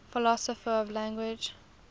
philosophers of language